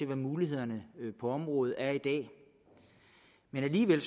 hvad mulighederne på området er i dag men alligevel